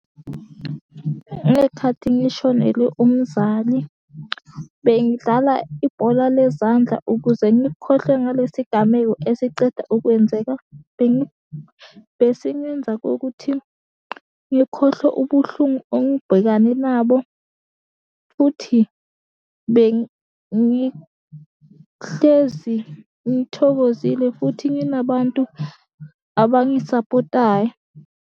Ngey'khathi ngishonelwe umzali bengidlala ibhola lezandla ukuze ngikhohlwe ngalesi gameko esiceda ukwenzeka. Besingenza kokuthi ngikhohlwe ubuhlungu engibhekane nabo, futhi bengihlezi ngithokozile futhi nginabantu abangisapotayo.